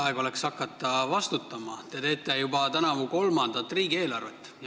Aeg oleks hakata vastutama, te teete tänavu juba kolmandat riigieelarvet.